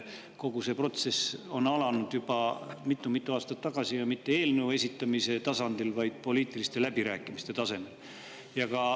Kogu see protsess algas juba mitu-mitu aastat tagasi ja mitte eelnõu esitamise tasandil, vaid poliitiliste läbirääkimiste tasemel.